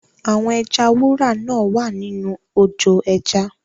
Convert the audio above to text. Àwọn ẹja wúrà náa wá nínú ojò ẹja.